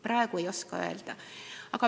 Praegu ei oska öelda.